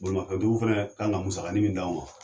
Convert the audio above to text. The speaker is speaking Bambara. Bolimafɛn tigiw fɛnɛ kan ka musakanin min d'anw ma